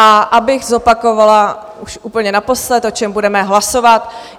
A abych zopakovala už úplně naposled, o čem budeme hlasovat.